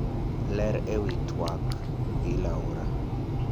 Ler ewi tuak gi Paula.